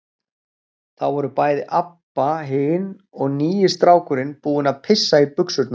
Þá voru bæði Abba hin og nýi strákurinn búin að pissa í buxurnar.